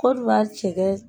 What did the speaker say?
Kodiwari cɛkɛ